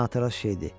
Narahat şeydir.